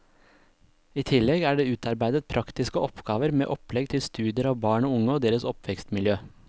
I tillegg er det utarbeidet praktiske oppgaver med opplegg til studier av barn og unge og deres oppvekstmiljø.